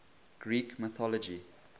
greek mythology